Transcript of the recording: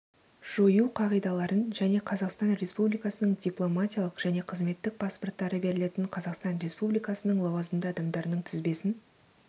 жою қағидаларын және қазақстан республикасының дипломатиялық және қызметтік паспорттары берілетін қазақстан республикасының лауазымды адамдарының тізбесін